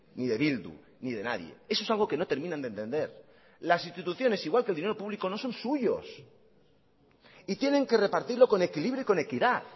ni de bildu ni de nadie eso es algo que no terminan de entender las instituciones igual que el dinero público no son suyos y tienen que repartirlo con equilibrio y con equidad